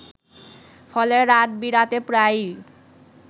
ফলে রাত-বিরাতে প্রায়ই